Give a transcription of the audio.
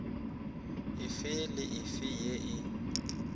efe le efe ye e